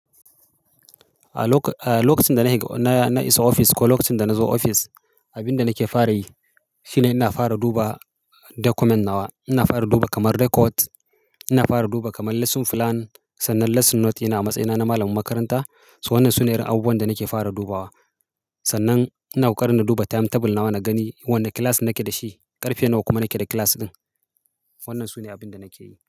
A lokacin da na higa-- na isa ofis ko lokacin da nazo ofis, abin da nake fara yi shine ina fara duba document na wa. Ina fara duba kamar record, ina fara duba kamar lesson plan, sannan lesson note yana a matsayina na malamin makaranta. Sannan su ne irin abubuwan da nake fara dubawa. Sannan ina ƙoƙarin na duba timetable nawa na gani wanda class nake da shi, ƙarfe nawa kuma nake da class ɗin. Wannan sune abin da nake yi.